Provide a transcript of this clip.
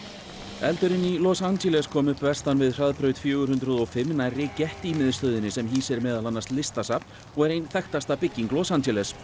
eldurinn í Los Angeles kom upp vestan við hraðbraut fjögur hundruð og fimm nærri Getty miðstöðinni sem hýsir meðal annars listasafn og er ein þekktasta bygging Los Angeles